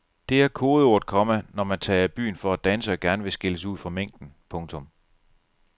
Det er kodeordet, komma når man tager i byen for at danse og gerne vil skille sig ud fra mængden. punktum